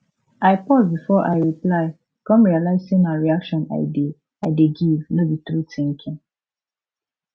i pause before i reply come realize say na reaction i dey i dey give no be true thinking